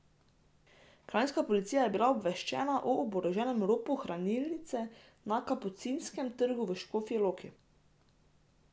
Kranjska policija je bila obveščena o oboroženem ropu hranilnice na Kapucinskem trgu v Škofji Loki.